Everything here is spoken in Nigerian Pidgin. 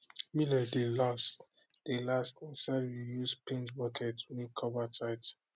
millet dey last dey last inside reused paint bucket wey cover tight